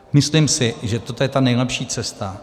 Myslím si, že toto je ta nejlepší cesta.